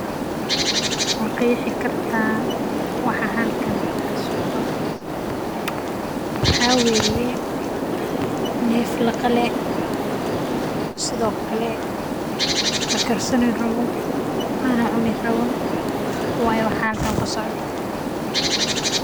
Ma qeexi kartaa waxa halkan kasocdo waxa waye neef laqale sido kale lakarsanaa rabo oo lacuni karo.